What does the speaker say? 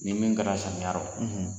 Ni min bɛnna sariya rɔ